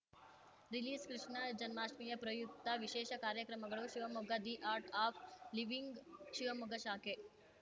ರಿಲೀಸ್‌ಕೃಷ್ಣ ಜನ್ಮಾಷ್ಠಮಿ ಪ್ರಯುಕ್ತ ವಿಶೇಷ ಕಾರ್ಯಕ್ರಮಗಳು Shivamogga the art of living Shivamogga ಶಾಖೆ